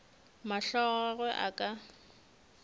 mahlo a gagwe a ka